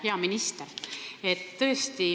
Hea minister!